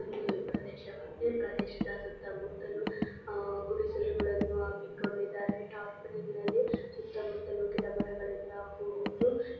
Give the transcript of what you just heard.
ಇಲ್ಲಿ ಈ ಪ್ರದೇಶವ ಈ ಪ್ರದೇಶದ ಸುತ್ತಮುತ್ತಲು ಅಹ್ ಗುಡಿಸಲುಗಳನ್ನು ಹಾಕಿಕೊಂಡಿದ್ದಾರೆ ಈ ಟಾರ್ಪೆಲಿ ನಲ್ಲಿ ಸುತ್ತಮುತ್ತಲು ಗಿಡಮರಗಳಿಂದ ಕೂಡಿದ್ದು --